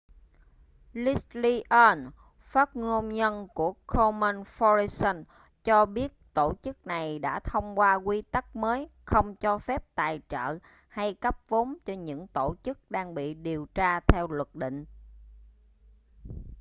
leslie aun phát ngôn nhân của komen foundation cho biết tổ chức này đã thông qua quy tắc mới không cho phép tài trợ hay cấp vốn cho những tổ chức đang bị điều tra theo luật định